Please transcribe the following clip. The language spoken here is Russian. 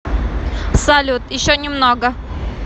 салют еще немного